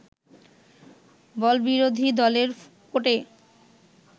“বল বিরোধী দলের কোর্টে